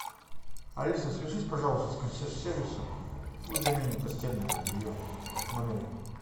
алиса свяжись пожалуйста с консьерж сервисом пусть заменят постельное белье в номере